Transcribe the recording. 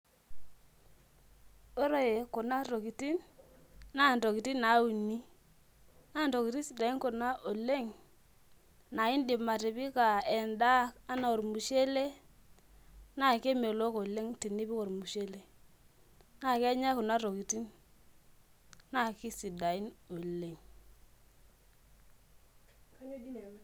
Ore kuna tokitin na ntokitin nauni na ntokitin sidain oleng naindim atipika enda ana ormushele na kemelok oleng tenipik ormushele na kenyae kuna tokitin na kisidain oleng.